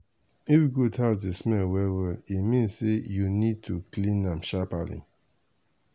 if goat house dey smell well well e mean say you need need to clean am sharperly.